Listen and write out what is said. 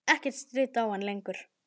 Ekkert stríddi á hann lengur.